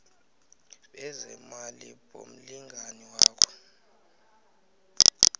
bezeemali bomlingani wakho